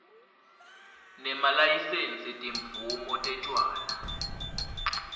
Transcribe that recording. nemalayisensi timvumo tetjwala